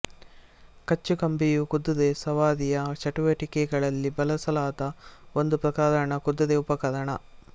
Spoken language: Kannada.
ಕಚ್ಚುಕಂಬಿಯು ಕುದುರೆ ಸವಾರಿಯ ಚಟುವಟಿಕೆಗಳಲ್ಲಿ ಬಳಸಲಾದ ಒಂದು ಪ್ರಕಾರದ ಕುದುರೆ ಉಪಕರಣ